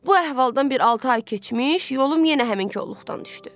Bu əhvaldan bir altı ay keçmiş, yolum yenə həmin kolluqdan düşdü.